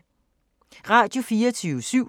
Radio24syv